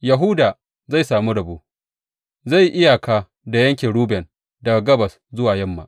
Yahuda zai sami rabo; zai yi iyaka da yankin Ruben daga gabas zuwa yamma.